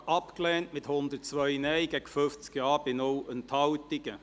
Sie haben den Rückweisungsantrag abgelehnt mit 102 Nein- gegen 50 Ja-Stimmen bei 0 Enthaltungen.